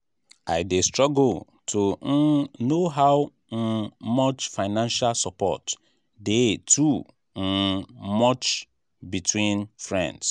i dey struggle to um know how um much financial support dey too um much between friends.